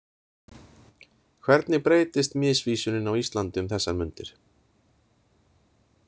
Hvernig breytist misvísunin á Íslandi um þessar mundir.